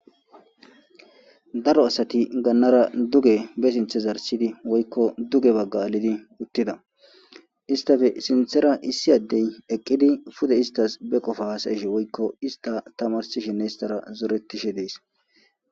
daro asati gannara duge be sinthe zarsidi woykko duge bagga alidi uttida istafe sinthera issi addey eqqidi pude istas be qofa hasayeshe woykko ista tamarsishinne istara zoretishe dees